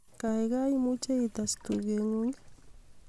gaigai imuje ites tugetng'ung' ii